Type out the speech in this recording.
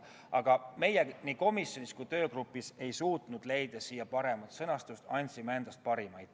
Aga meie, nii komisjonis kui ka töögrupis, ei suutnud leida paremat sõnastust, andsime endast parima.